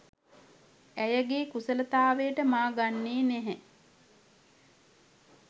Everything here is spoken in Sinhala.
ඇයගේ කුසලතාවයට මා ගන්නේ නැහැ.